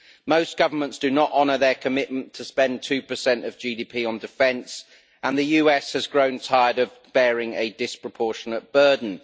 Most governments do not honour their commitment to spend 2 of GDP on defence, and the US has grown tired of bearing a disproportionate burden.